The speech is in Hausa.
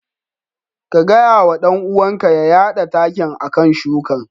Ka gaya wa dan uwanka ya yada takin a kan shukan.